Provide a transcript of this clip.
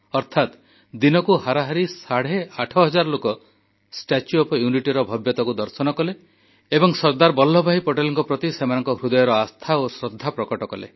ଅର୍ଥାତ୍ ଦିନକୁ ହାରାହାରି ସାଢ଼େ ଆଠହଜାର ଲୋକ ଷ୍ଟାଚ୍ୟୁ ଅଫ ୟୁନିଟିର ଭବ୍ୟତାକୁ ଦର୍ଶନ କଲେ ଏବଂ ସର୍ଦ୍ଦାର ବଲ୍ଲଭଭାଇ ପଟେଲଙ୍କ ପ୍ରତି ସେମାନଙ୍କ ହୃଦୟର ଆସ୍ଥା ଓ ଶ୍ରଦ୍ଧା ପ୍ରକଟ କଲେ